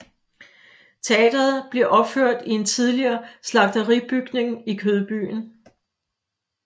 Teatret bliver opført i en tidligere slagteribygning i Kødbyen